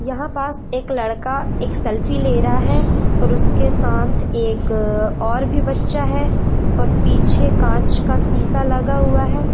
यहां पास एक लड़का एक सेल्फी ले रहा है और उसके साथ एक और भी बच्चा है और पीछे कांच का शीशा लगा हुआ है।